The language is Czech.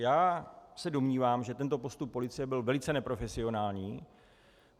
Já se domnívám, že tento postup policie byl velice neprofesionální.